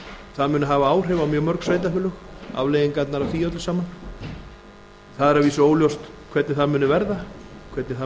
það muni hafa áhrif á mjög mörg sveitarfélög afleiðingarnar af því öllu saman það er vísu óljóst hvernig það muni verða hvernig það